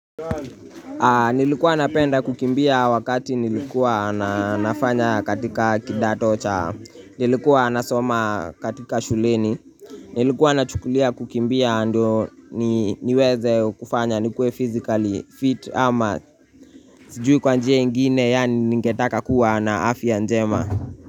Nilikuwa napenda kukimbia wakati nilikuwa na nafanya katika kidato cha, nilikuwa nasoma katika shuleni, nilikuwa nachukulia kukimbia ndo ni niweze kufanya nikue physically fit ama Sijui kwa njia ingine yani ningetaka kuwa na afya njema.